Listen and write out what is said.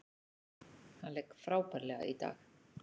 Hann lék frábærlega í dag.